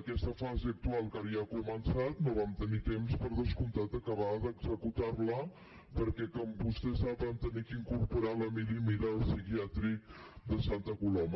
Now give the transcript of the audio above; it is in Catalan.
aquesta fase actual que ara ja ha començat no vam tenir temps per descomptat d’acabar d’executar la perquè com vostè sap vam haver d’incorporar l’emili mira el psiquiàtric de santa coloma